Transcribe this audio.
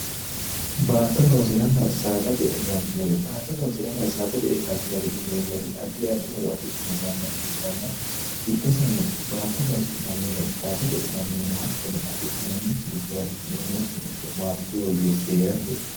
baatto loosiranna saada je'e galtinore baatto loosi'ranna saada je'e galtinore yineemmori addi addi horo afidhino manna ikkitanna giddosinano baatto loosi'nannihuno saada je'nannihuno hattonno afi'noonni kirico'ne umosino ikko maatesi woyyeessi ree'rate